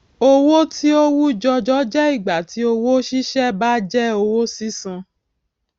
owó tí ó wú jọjọ jẹ ìgbà tí owó ṣíṣe bá jẹ owó sísan